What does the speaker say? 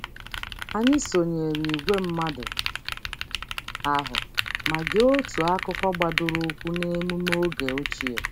Anyị sonyere ìgwè mmadụ ahụ ma gee otu akụkọ gbadoroụkwụ n'emume oge ochie.